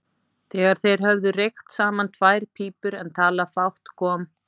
Þegar þeir höfðu reykt saman tvær pípur en talað fátt kom